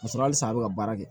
Ka sɔrɔ halisa a bɛ ka baara kɛ